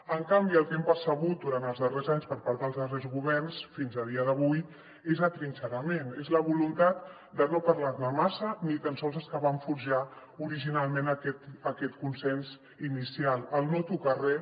en canvi el que hem percebut durant els darrers anys per part dels darrers governs fins a dia d’avui és atrinxerament és la voluntat de no parlar ne massa ni tan sols els que van forjar originalment aquest consens inicial el no tocar res